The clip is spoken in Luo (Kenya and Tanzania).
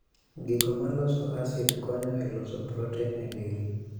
Gigo maloso asid konyo e loso proten e del